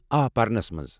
آ، پرنَس مَنٛز۔